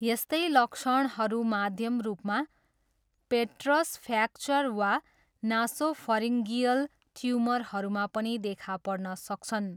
यस्तै लक्षणहरू माध्यम रूपमा पेट्रस फ्र्याक्चर वा नासोफरिन्गियल ट्युमरहरूमा पनि देखा पर्न सक्छन्।